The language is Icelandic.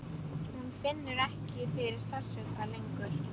Hún finnur ekki fyrir sársauka lengur.